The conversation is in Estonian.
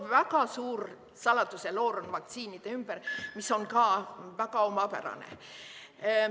Väga suur saladuseloor on vaktsiinide ümber, mis on ka väga omapärane.